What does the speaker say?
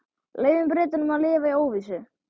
Leyfum Bretunum að lifa í óvissu.